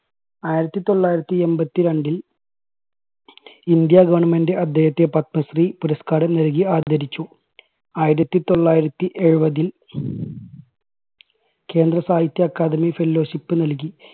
ആയിരത്തി തൊള്ളായിരത്തി എൺപത്തി രണ്ടിൽ ഇന്ത്യാ government അദ്ദേഹത്തെ പത്മശ്രീ പുരസ്കാരം നൽകി ആദരിച്ചു. ആയിരത്തി തൊള്ളായിരത്തി എഴുപതിൽ കേന്ദ്ര സാഹിത്യ അക്കാദമി fellowship നൽകി.